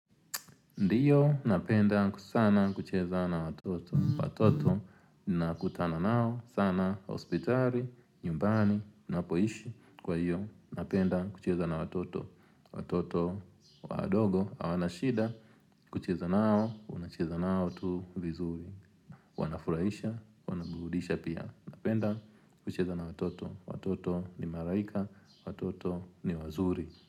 Ndiyo napenda sana kucheza na watoto. Watoto ninakutana nao sana hospitali, nyumbani, napoishi. Kwa iyo napenda kucheza na watoto. Watoto wadogo hawana shida. Kucheza nao, unacheza nao tu vizuri. Wanafurahisha, wanaburudisha pia. Napenda kucheza na watoto. Watoto ni malaika, watoto ni wazuri.